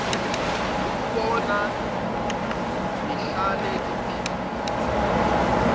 ukunibona nihlale niphilile